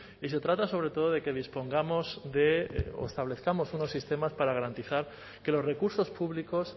y se trata sobre todo de que dispongamos o establezcamos unos sistemas para garantizar que los recursos públicos